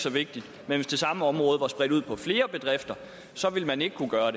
så vigtigt men hvis det samme område var spredt ud på flere bedrifter ville man ikke kunne gøre